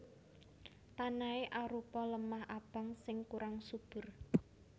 Tanahé arupa lemah abang sing kurang subur